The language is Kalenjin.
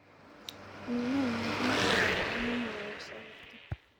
" Minenyin komoche ropta nemowo soiti